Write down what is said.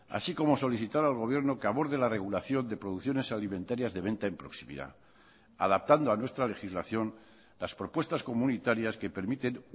así como solicitar al gobierno que aborde la regulación de producciones alimentarías de venta en proximidad adaptando a nuestra legislación las propuestas comunitarias que permiten